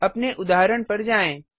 अपने उदाहरण पर जाएँ